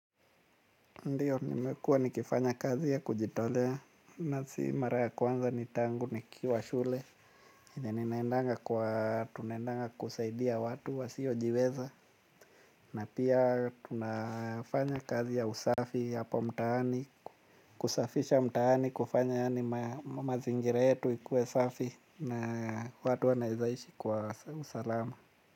Ndiyo, nimekuwa nikifanya kazi ya kujitolea, na si mara ya kwanza ni tangu, nikiwa shule, ninaendanga kwa, tunendanga kusaidia watu wasiojiweza, na pia tunafanya kazi ya usafi hapo mtaani, kusafisha mtaani, kufanya yani mazingira yetu ikuwe safi, na watu wanawezaishi kwa usalama.